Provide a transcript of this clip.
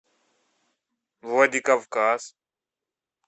владикавказ